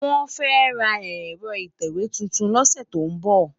Wòn fè rá èrò itèwé tútún lòsè tó n bò